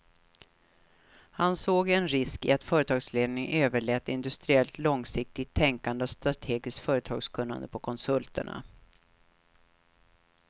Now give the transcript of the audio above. Han såg en risk i att företagsledningarna överlät industriellt långsiktigt tänkande och strategiskt företagskunnande på konsulterna.